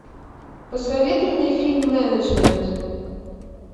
посоветуй мне фильм менеджмент